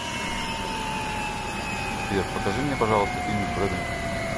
сбер покажи мне пожалуйста фильм с бредом питтом